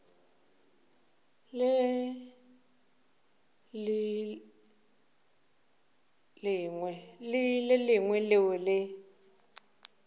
le le lengwe leo le